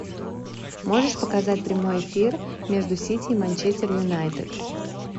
можешь показать прямой эфир между сити и манчестер юнайтед